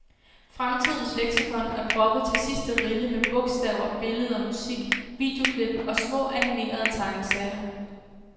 Fremtidens leksikon er proppet til sidste rille med bogstaver, billeder, musik, videoklip og små, animerede tegneserier.